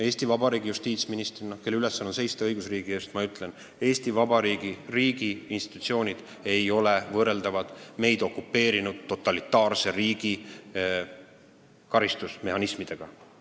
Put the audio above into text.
Eesti Vabariigi justiitsministrina, kelle ülesanne on seista õigusriigi eest, ma ütlen, et Eesti Vabariigi riigiinstitutsioonid ei ole võrreldavad meid okupeerinud totalitaarse riigi karistusmehhanismidega.